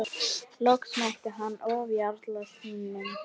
Loks mætti hann ofjarli sínum.